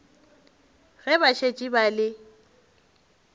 ge ba šetše ba le